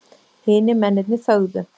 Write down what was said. Hinir mennirnir þögðu.